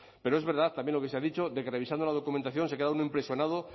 pero es verdad también lo que se ha dicho de que revisando la documentación se queda uno impresionado